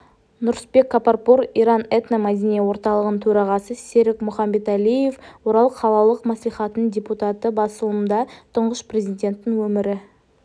нұрысбек капарпур иран этномәдени орталығының төрағасы серік мұхамбетәлиев орал қалалық мәслихатының депутаты басылымда тұңғыш президенттің өмірі